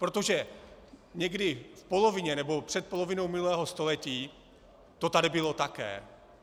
Protože někdy v polovině nebo před polovinou minulého století to tady bylo také.